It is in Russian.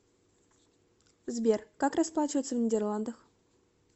сбер как расплачиваться в нидерландах